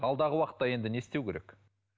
алдағы уақытта енді не істеу керек